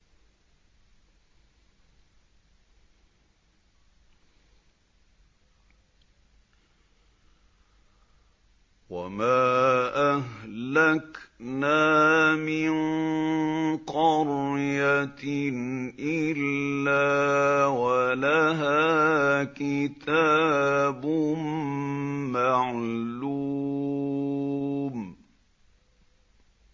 وَمَا أَهْلَكْنَا مِن قَرْيَةٍ إِلَّا وَلَهَا كِتَابٌ مَّعْلُومٌ